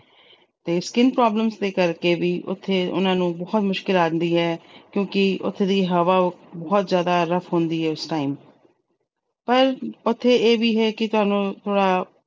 ਤੇ skin problems ਦੇ ਕਰਕੇ ਵੀ ਉਥੇ ਉਹਨਾਂ ਨੂੰ ਬਹੁਤ ਮੁਸ਼ਕਲ ਆਉਂਦੀ ਏ ਕਿਉਂਕਿ ਉਥੇ ਦੀ ਹਵਾ ਬਹੁਤ ਜਿਆਦਾ rough ਹੁੰਦੀ ਏ ਉਸ time ਪਰ ਉਥੇ ਇਹ ਵੀ ਹੈ ਕਿ ਤੁਹਾਨੂੰ ਥੋੜਾ